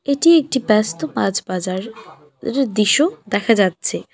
এটি একটি ব্যস্ত মাছ বাজার এরর দিশ্য দেখা যাচ্ছে।